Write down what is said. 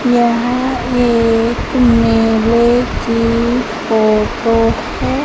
यह एक मेले की फोटो है।